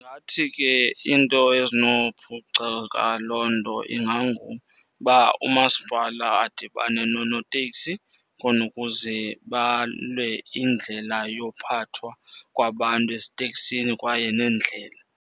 Ndingathi ke iinto ezinophuceka loo nto inganguba umasipala adibane noonoteksi khona ukuze balwe indlela yophathwa kwabantu eziteksini kwaye neendlela.